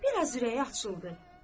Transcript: Bir az ürəyi açıldı.